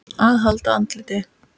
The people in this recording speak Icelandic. AÐ HALDA ANDLITI